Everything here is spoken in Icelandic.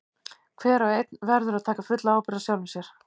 Hver og einn verður að taka fulla ábyrgð á sjálfum sér.